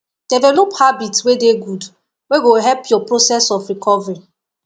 develop habits wey dey good wey go help your process of recovering